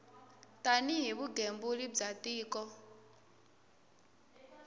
tani hi vugembuli bya tiko